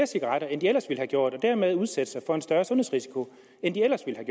cigaretter end de ellers ville have gjort og dermed udsætte sig for en større sundhedsrisiko end det ellers ville